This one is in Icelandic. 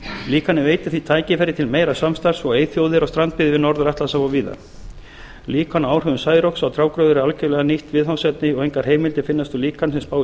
líkanið veitir því tækifæri til meira samstarfs við eyþjóðir og strandbyggðir við norður atlantshaf og víðar líkan af áhrifum særoks á trjágróður er algerlega nýtt viðfangsefni og engar heimildir finnast um líkan sem spáir